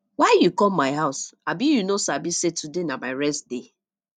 why you come my house abi you no sabi sey today na my rest day